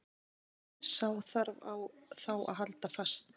Sá þarf þá að halda fast.